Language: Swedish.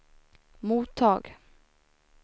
mottag